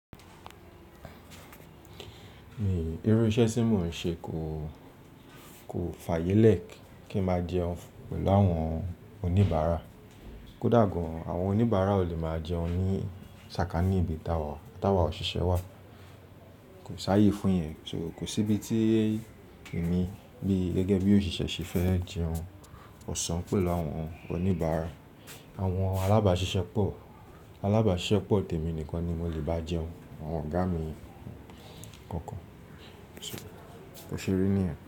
Èyí iru iṣẹ́ tí mò ń ṣe kò, kò fàyẹ lẹ ki n ma jẹun pẹlu àwọn oníbàárà. Kódà gan, àwọn oníbàárà o le ma jẹun ni sàkání ibi táwà, táwà òṣìṣẹ́ wà. Kò sáyé fún yẹn. So kò síbi tí èmi le gẹ́gẹ́ bi òṣìṣẹ́ ṣe fẹ́ jẹun ọsàn pẹlu àwọn oníbàárà. Àwọn alábáṣiṣẹ́pọ̀, alábáṣiṣẹ́pọ̀ tèmi nìkan ni mo le bá jẹun, àwọn ọ̀gá mi kookan. So, bó ṣe rí níyen.